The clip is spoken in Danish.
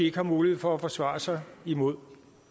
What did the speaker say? ikke har mulighed for at forsvare sig imod